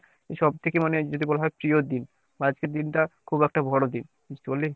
সব থেকে মানে যদি বলা হয় প্রিয় দিন বা আজকের দিনটা খুব একটা বড়দিন বুঝতে পারলি ?